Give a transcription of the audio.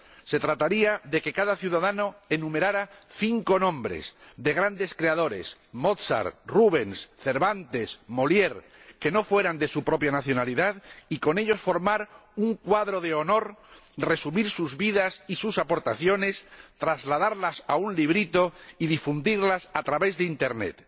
Se trataría de que cada ciudadano enumerara cinco nombres de grandes creadores —Mozart, Rubens, Cervantes, Molière— que no fueran de su propia nacionalidad y con ellos formar un cuadro de honor, resumir sus vidas y sus aportaciones, trasladarlas a un librito y difundirlas a través de Internet.